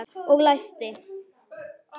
Og læsti.